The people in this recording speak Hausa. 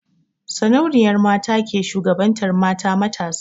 Sarauniyar mata ke shugabantar mata matasa.